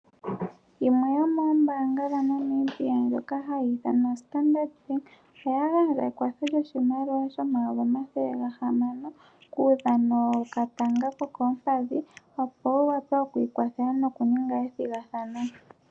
Yimwe yomoombaanga dhaNamibia ndjoka hayi ithanwa oStandard Bank. Oya gandja ekwatho lyoshimaliwa shomayovi omathele gahamano kuudhano wokatanga kokoompadhi opo omukuthimbinga a wape oku li kwathela nokukuthanombinga.